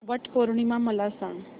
वट पौर्णिमा मला सांग